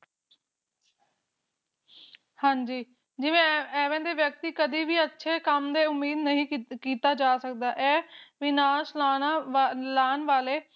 ਹਾਂਜੀ ਜਿਵੇ ਐਦੇ ਦੇ ਵਿਅਕਤੀ ਕਦੇ ਵੀ ਅੱਛੇ ਕੰਮ ਦੀ ਉਮੀਦ ਨਹੀਂ ਕੀਤਾ ਜਾ ਸਕਦਾ ਇਹ ਵਿਨਾਸ਼ ਲਾਣਾ ਲਾਣ ਵਾਲੇ